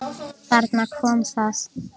Þarna kom það!